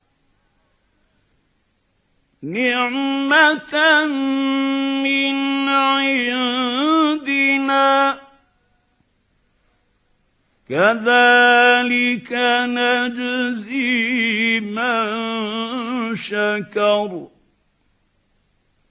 نِّعْمَةً مِّنْ عِندِنَا ۚ كَذَٰلِكَ نَجْزِي مَن شَكَرَ